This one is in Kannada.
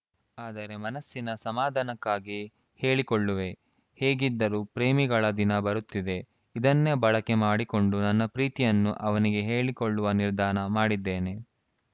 ಆದರೆ ಮನಸ್ಸಿನ ಸಮಾಧಾನಕ್ಕಾಗಿ ಹೇಳಿಕೊಳ್ಳುವೆ ಹೇಗಿದ್ದರೂ ಪ್ರೇಮಿಗಳ ದಿನ ಬರುತ್ತಿದೆ ಇದನ್ನೇ ಬಳಕೆ ಮಾಡಿಕೊಂಡು ನನ್ನ ಪ್ರೀತಿಯನ್ನು ಅವನಿಗೆ ಹೇಳಿಕೊಳ್ಳುವ ನಿರ್ಧಾರ ಮಾಡಿದ್ದೇನೆ